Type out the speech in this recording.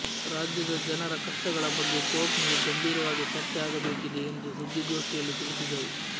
ರಾಜ್ಯದ ಜನರ ಕಷ್ಟಗಳ ಬಗ್ಗೆ ಕೋರ್ಟ್ನಲ್ಲಿ ಗಂಭೀರವಾಗಿ ಚರ್ಚೆ ಆಗಬೇಕಿದೆ ಎಂದು ಸುದ್ದಿಗೋಷ್ಠಿಯಲ್ಲಿ ತಿಳಿಸಿದರು